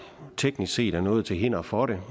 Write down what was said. teknisk set er noget til hinder for det